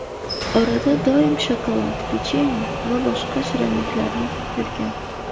Orada doim shokolad, pechenye va boshqa shirinliklarni yeb yurgan.